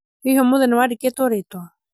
hihi ũmũthĩ nĩwandĩkĩtwo rĩtwa?